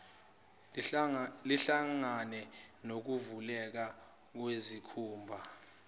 lihlangane nokuvuleka kwesikhumba